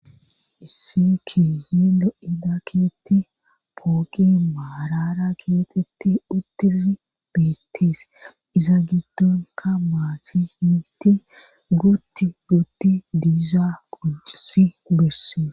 Isseki hi lo7ida keetti pooqi maarara keeqetti uttisi beettees iza giddonka maati miti guutti gutti diizaa quncisi bessees.